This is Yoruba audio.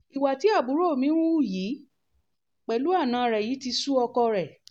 ìwà tí àbúrò mi ń hù yìí pẹ̀lú àna rẹ̀ yìí ti sú ọkọ rẹ̀